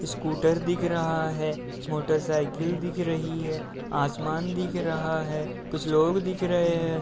Scooter दिख रहा है। मोटरसाइकिल दिख रही है। आसमान दिख रहा है। कुछ लोग दिख रहें हैं।